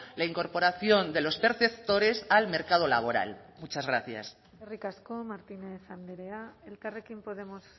la incorporación de los perceptores al mercado laboral muchas gracias eskerrik asko martínez andrea elkarrekin podemos